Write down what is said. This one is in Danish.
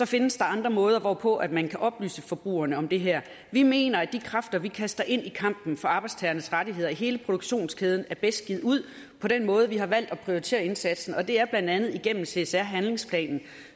findes der andre måder hvorpå man kan oplyse forbrugerne om det her vi mener at de kræfter vi kaster ind i kampen for arbejdstagernes rettigheder i hele produktionskæden er bedst givet ud på den måde vi har valgt at prioritere indsatsen og det er blandt andet igennem csr handlingsplanen